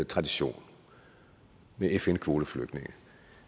tradition med fn kvoteflygtninge